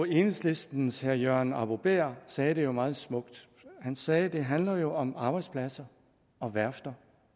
enhedslistens herre jørgen arbo bæhr sagde det jo meget smukt han sagde at det handler om arbejdspladser om værfter